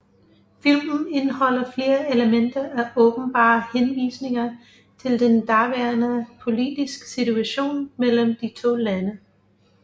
Filmen indeholder flere elementer af åbenbare henvisninger til den daværende politiske situation mellem de to lande